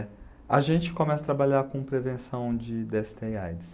a gente começa a trabalhar com prevenção de dê esse tê e á i dê sê.